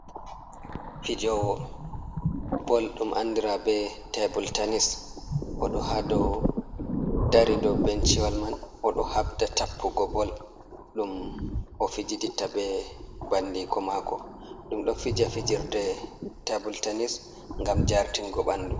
Fijowo bol ɗum andira be tabul tanis oɗo ha dou dari dou benchiwol man oɗo habda tappugo bol ɗum o fijiditta be bandiko mako. Ɗum ɗon fija fijirde tabul tanis ngam jartingo ɓandu.